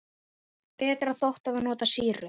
Betra þótti að nota sýru.